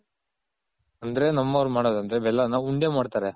ಅಂದ್ರೆ ನಮ್ ಅವ್ರ್ ಮಾಡೋದು ಅಂದ್ರೆ ಬೆಲ್ಲನ ಉಂಡೆ ಮಾಡ್ತಾರೆ.